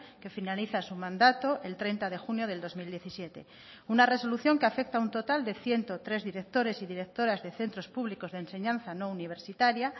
que finaliza su mandato el treinta de junio del dos mil diecisiete una resolución que afecta a un total de ciento tres directores y directoras de centros públicos de enseñanza no universitaria